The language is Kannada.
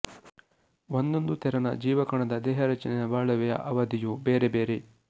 ಒಂದೊಂದು ತೆರನ ಜೀವಕಣದ ದೇಹರಚನೆಯ ಬಾಳುವೆಯ ಅವಧಿಯೂ ಬೇರೆ ಬೇರೆ